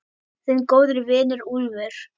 Þinn góði vinur, Úlfur.